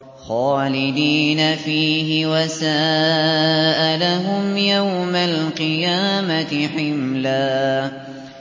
خَالِدِينَ فِيهِ ۖ وَسَاءَ لَهُمْ يَوْمَ الْقِيَامَةِ حِمْلًا